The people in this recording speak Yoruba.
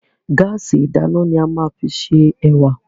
Gáàsì ìdáná ni a máa fi se ẹ̀wà.